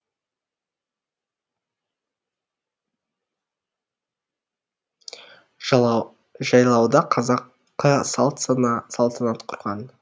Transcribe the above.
жайлауда қазақы салт сана салтанат құрған